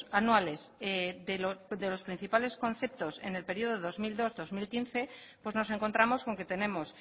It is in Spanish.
anuales de los principales conceptos en el periodo dos mil dos dos mil quince pues nos encontramos con que tenemos